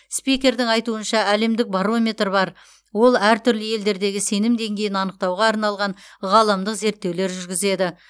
спикердің айтуынша әлемдік барометр бар ол әртүрлі елдердегі сенім деңгейін анықтауға арналған ғаламдық зерттеулер жүргізеді